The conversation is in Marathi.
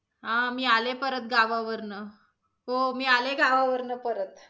हा मी आले परत गावावरनं. हो मी आले गावावरनं परत.